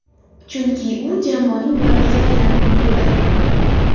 Chunki, u jamoaning yuragiga aylanib ulgurdi.